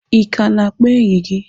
Ị ka na-akpọ enyi gị?